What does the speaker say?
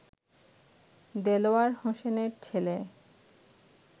দেলোয়ার হোসেনের ছেলে